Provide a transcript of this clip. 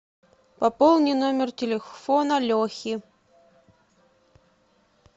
пополни номер телефона лехи